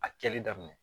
A kɛli daminɛ